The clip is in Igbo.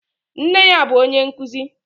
Nne ya bụ onye nkuzi.